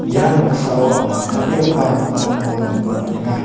ia noksao anga dal·begipa nokrangko nikna man·enga.